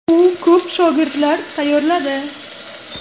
U ko‘p shogirdlar tayyorladi.